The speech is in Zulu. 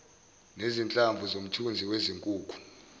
nezinhlamvu zomthunzi wezinkukhu